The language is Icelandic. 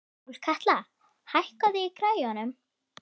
Sólkatla, hækkaðu í græjunum.